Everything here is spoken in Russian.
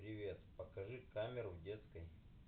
привет покажи камеру в детской